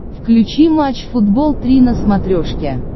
включи матч футбол три на смотрешке